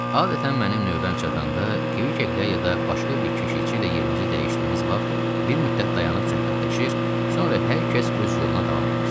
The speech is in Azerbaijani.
Adətən mənim növbəm çatanda Kvikveqlə ya da başqa bir keşiyçi ilə yerimizi dəyişdiyimiz vaxt bir müddət dayanıb söhbətləşir, sonra hər kəs öz yoluna davam eləyirdi.